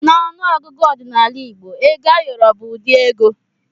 N'ọnụ ọgụgụ ọdịnala igbo ego ayọrọ bụ ụdị ego.